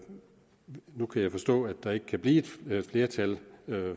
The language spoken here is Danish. nu kan jeg forstå at der ikke kan blive et flertal